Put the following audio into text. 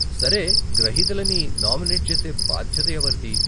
సరే, గ్రహీతలని నామినెట్ చేసే భాద్యత ఎవరిది?